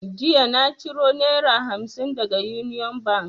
Jiya na ciro naira hamsin daga union bank